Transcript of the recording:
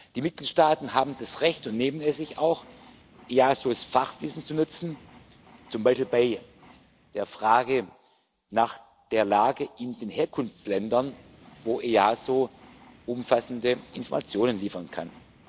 Die Mitgliedstaaten haben das Recht und nehmen es sich auch, das Fachwissen des EASO zu nutzen, zum Beispiel bei der Frage nach der Lage in den Herkunftsländern, wo das EASO umfassende Informationen liefern kann.